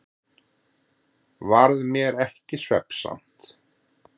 Varð mér ekki svefnsamt.